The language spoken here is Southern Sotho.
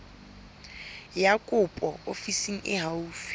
ya kopo ofising e haufi